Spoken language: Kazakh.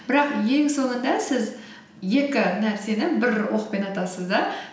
бірақ ең соңында сіз екі нәрсені бір оқпен атасыз да